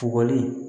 Kɔgɔli